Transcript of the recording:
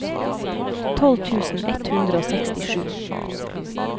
tolv tusen ett hundre og sekstisju